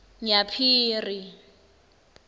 nyaphiri